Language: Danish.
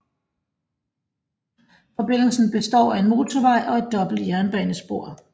Forbindelsen består af en motorvej og et dobbelt jernbanespor